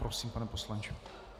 Prosím, pane poslanče.